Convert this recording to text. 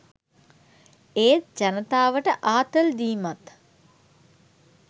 ඒත් ජනතාවට ආතල් දීමත්